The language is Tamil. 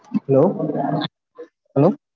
hello hello